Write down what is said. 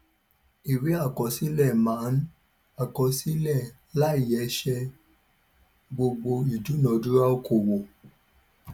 ìwé àkọsílẹ máa ń àkọsílẹ láìyẹsẹ gbogbo ìdúnadúrà okòwò